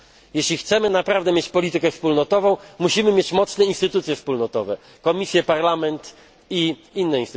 Jeśli naprawdę chcemy mieć politykę wspólnotową, musimy mieć mocne instytucje wspólnotowe Komisję, Parlament i inne.